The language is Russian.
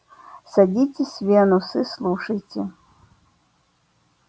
садитесь венус и слушайте